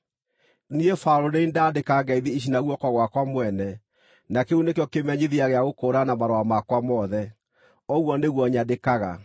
Niĩ Paũlũ nĩ niĩ ndandĩka ngeithi ici na guoko gwakwa mwene, na kĩu nĩkĩo kĩmenyithia gĩa gũkũũrana marũa makwa mothe. Ũguo nĩguo nyandĩkaga.